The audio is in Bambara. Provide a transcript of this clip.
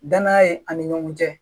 Danaya ye ani ɲɔgɔn cɛ